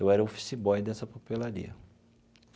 Eu era o office boy dessa papelaria.